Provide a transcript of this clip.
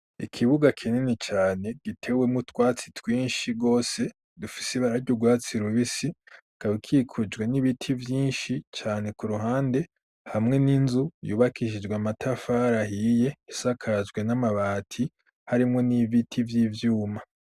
Ikibuga kinini cane gitewe mu twatsi twinshi wose dufisi barag ugwatsi rubisi kabikikujwe n'ibiti byinshi cyane ku ruhande hamwe n'inzu yubakishijwe amatafarahiye isakajwe n'amabati harimo n'ibiti vy'ivyuma.